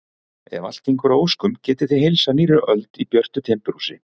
Ef allt gengur að óskum getið þið heilsað nýrri öld í björtu timburhúsi.